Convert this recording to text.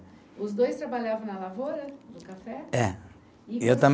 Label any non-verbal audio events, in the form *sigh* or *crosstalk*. Os dois trabalhavam na lavoura do café? É. Eu *unintelligible*